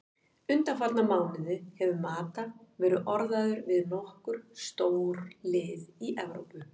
Undanfarna mánuði hefur Mata verið orðaður við nokkur stórlið í Evrópu.